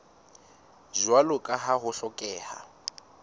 jwalo ka ha ho hlokeha